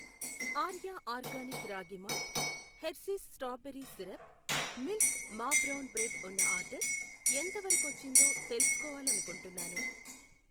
Arya organic ragi malt, Hershey's strawberry syrup, milk మా brown bread ఉన్న order ఎంతవరకొచ్చిందో తెలుసుకోవాలనుకుంటున్నాను.